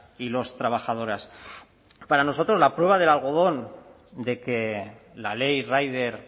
y los trabajadoras para nosotros la prueba del algodón de que la ley rider